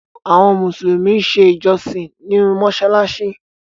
Àwọn musulumi n ṣè ìjọ̀ṣìn nínu mosalasi.